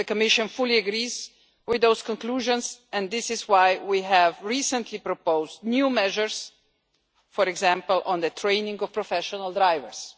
The Commission fully agrees with those conclusions, and this is why we have recently proposed new measures, for example on the training of professional drivers.